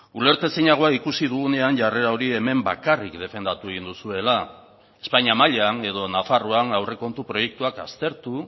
ulertezinagoa ikusi dugunean jarrera hori hemen bakarrik defendatu egin duzuela espainia mailan edo nafarroan aurrekontu proiektuak aztertu